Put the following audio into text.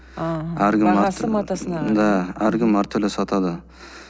да әркім әртүрлі сатады